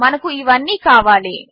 మనకు ఇవన్నీ కావాలి